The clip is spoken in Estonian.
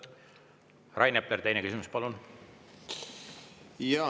Rain Epler, teine küsimus, palun!